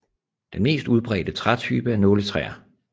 Den mest udbredte trætype er nåletræer